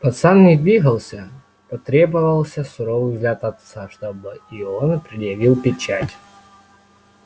пацан не двигался потребовался суровый взгляд отца чтобы и он предъявил печать